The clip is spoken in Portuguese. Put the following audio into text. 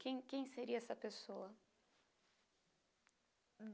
Quem quem seria essa pessoa?